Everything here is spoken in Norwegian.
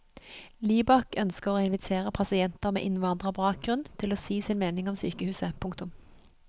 Libak ønsker å invitere pasienter med innvandrerbakgrunn til å si sin mening om sykehuset. punktum